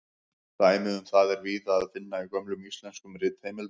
Dæmi um það er víða að finna í gömlum íslenskum ritheimildum.